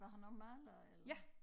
Var han også maler og eller?